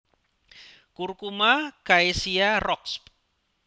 Curcuma caesia Roxb